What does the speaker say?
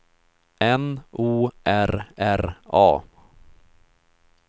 N O R R A